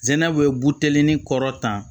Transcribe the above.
Zɛnaw ye buteli ni kɔrɔtan